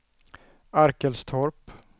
Arkelstorp